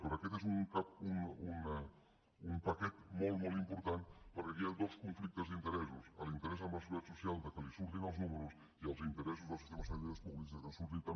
per tant aquest és un paquet molt molt important perquè aquí hi ha dos conflictes d’interessos l’interès de la seguretat social que li surtin els números i els interessos dels sistemes sanitaris públics que els surtin també